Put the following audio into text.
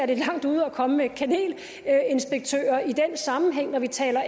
det er langt ude at komme med kanelinspektører i den sammenhæng når vi taler